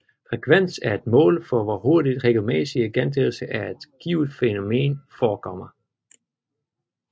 Frekvens er et mål for hvor hurtigt regelmæssige gentagelser af et givet fænomen forekommer